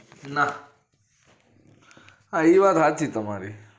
નાહ ઈ વાત હાચી તમારી